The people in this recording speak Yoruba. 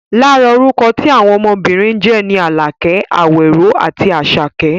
Lára orúkọ tí àwọn ọmọbìnrin ń jẹ́ ni Àlàkẹ́, Àwẹ̀ró àti Àṣàkẹ́